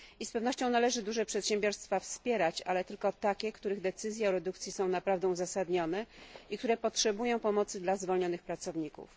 Z pewnością należy duże przedsiębiorstwa wspierać, ale tylko takie, w których decyzje o redukcji są naprawdę uzasadnione, i które potrzebują pomocy dla zwolnionych pracowników.